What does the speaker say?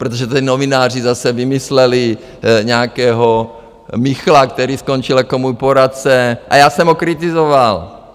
Protože teď novináři zase vymysleli nějakého Michla, který skončil jako můj poradce a já jsem ho kritizoval!